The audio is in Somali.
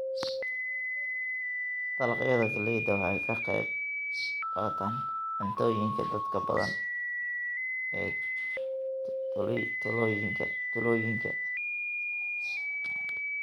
Dalagyada galleyda waxay ka qaybqaataan cuntooyinka dadka badan ee tuulooyinka.